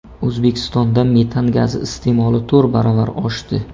O‘zbekistonda metan gazi iste’moli to‘rt baravar oshdi.